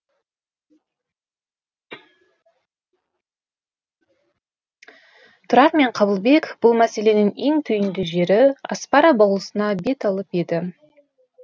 тұрар мен қабылбек бұл мәселенің ең түйінді жері аспара болысына бет алып еді